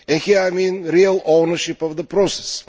By this I mean real ownership of the process.